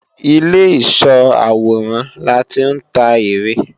Ìlé ìsó àwòrán láti ń ta ère